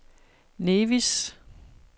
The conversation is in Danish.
Nevis